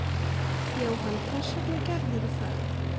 Jóhann: Hvers vegna gerðirðu það?